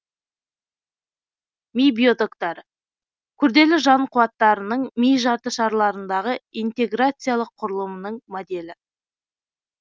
ми биотоктары күрделі жан қуаттарының ми жарты шарларындағы интеграциялық құрылымынының моделі